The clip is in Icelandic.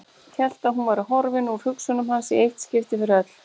Hélt að hún væri horfin úr hugsunum hans í eitt skipti fyrir öll.